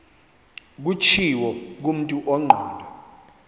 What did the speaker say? kutshiwo kumntu ongqondo